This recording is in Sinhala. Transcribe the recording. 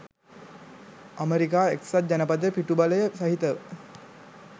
අමෙරිකා එක්සත් ජනපදයේ පිටුබලය සහිතව